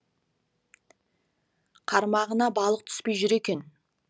қармағына балық түспей жүр екен